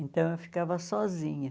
Então, eu ficava sozinha.